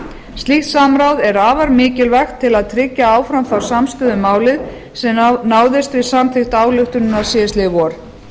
slíkt samráð er afar mikilvægt til að tryggja áfram þá samstöðu um málið sem náðist við samþykkt ályktunarinnar síðastliðið vor